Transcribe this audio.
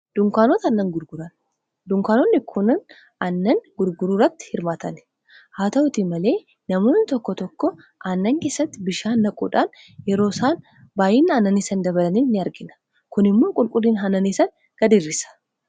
dunkaanonni kun anannan gurguruuratti hirmaatanehaa ta'uti malee namoonni tokko tokko annankessatti bishaan naquudhaan yeroo isaan baay'ina annaniisanadabalanii ni argina kun immoo qulqulliin annaniisan gad irisa